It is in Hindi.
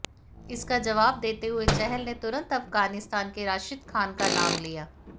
इसका जवाब देते हुए चहल ने तुरंत अफगानिस्तान के राशिद खान का नाम लिया